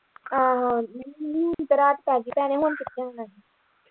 ਆਹੋ ਹੁਣ ਤੇ ਰਾਤ ਪੈਗੀ ਭੈਣੇ ਹੁਣ ਕਿਥੋਂ ਆਉਣਾ।